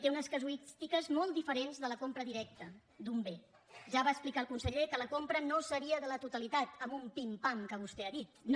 té unes casuístiques molt diferents de la compra directa d’un bé ja va explicar el conseller que la compra no seria de la totalitat en un pim pam que vostè ha dit no